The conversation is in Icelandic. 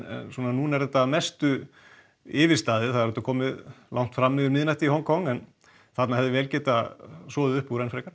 núna er þetta yfirstaðið það er komið langt fram yfir miðnætti í Hong Kong en þarna hefði vel getað soðið upp úr enn frekar